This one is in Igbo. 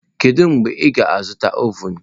Kedu mgbe ị ga-azụta ovun?